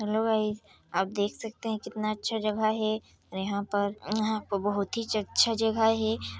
Hello guys आप देख सकते है कितना अच्छा जगह है और यहाँ पर यहाँ पर बहुतिच अच्छा जगह है।